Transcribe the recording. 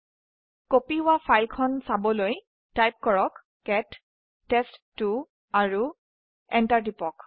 এই কপি কৰা ফাইল খন চাবলৈ লিখক কেট টেষ্ট2 আৰু এন্টাৰ টিপক